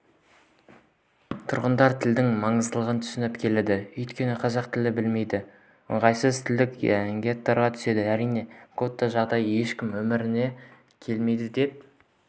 тұрғындар тілдің маңыздылығын түсініп келеді өйткені қазақ тілін білмей ыңғайсыз тілдік геттоға түсесің әрине гетто жағдайында ешкімнің өмір сүргісі келмейді деп